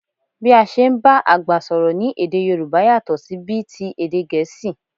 Bí a ṣe ń bá àgbà sọ̀rọ̀ ní èdè Yòrùbá yàtọ̀ sí bí ti èdè Gẹ̀ẹ́sì